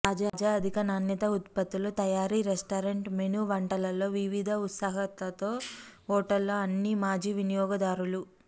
తాజా అధిక నాణ్యత ఉత్పత్తులు తయారు రెస్టారెంట్ మెనూ వంటలలో వివిధ ఉత్సుకతతో తో హోటల్ అన్ని మాజీ వినియోగదారులు